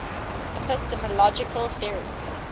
epistemological theories